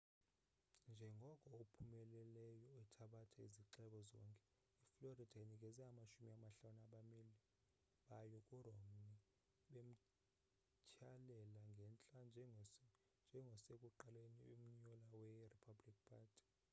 njengoko ophumelelayo ethabatha izixeko zonke i-florida inikeze amashumi amahlanu abameli bayo ku romney bemthyalela ngentla njengosekuqaleni umnyulwa we-republican party